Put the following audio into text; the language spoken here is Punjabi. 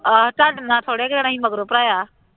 ਆਹੋ ਤੁਹਾਡੇ ਨਾਲੋਂ ਥੋੜ੍ਹੇ ਦਿਨਾਂ ਹੀ ਮਗਰੋਂ ਭਰਾਇਆ